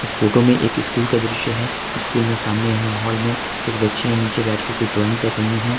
Photo में एक school का दृश्य है स्कूल में सामने यहां हॉल में कुछ बच्चियाँ नीचे बैठके कुछ ड्राइंग कर रही है।